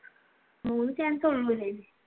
മൂന്ന് chance ഉള്ളു അല്ലെ